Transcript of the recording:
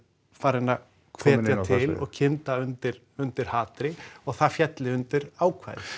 farinn að hvetja til og kynda undir undir hatri og það félli undir ákvæðið